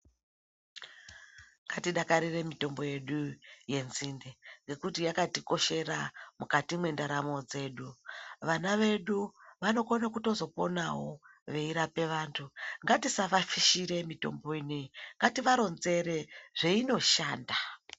Ngatidakarire mitombo yedu yenzinde ngekuti yakatikoshera mukati mwendaramo dzedu .Vana vedu vanokona kutozoponawo veirapa vantu .Ngatisavaashire mitombo inei ,ngaivaronzere zveinoshanda.